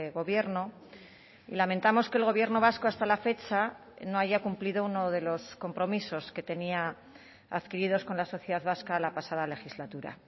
gobierno y lamentamos que el gobierno vasco hasta la fecha no haya cumplido uno de los compromisos que tenía adquiridos con la sociedad vasca la pasada legislatura